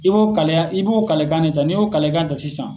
i b'o kaleya, i b'o kalekan ne ta. Ni y'o kalalekan ta sisan